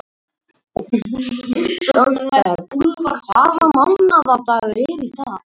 María mey hefur verið mörgum listamönnum hugleikin.